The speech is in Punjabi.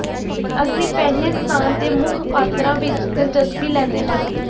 ਅਸੀਂ ਪਹਿਲੇ ਸਥਾਨ ਤੇ ਮੁੱਖ ਪਾਤਰਾਂ ਵਿਚ ਦਿਲਚਸਪੀ ਲੈਂਦੇ ਹਾਂ